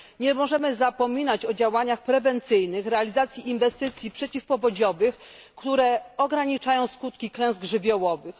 Nie możemy zapominać o działaniach prewencyjnych i realizacji inwestycji przeciwpowodziowych, które ograniczają skutki klęsk żywiołowych.